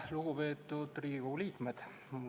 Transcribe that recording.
Lugupeetud Riigikogu liikmed!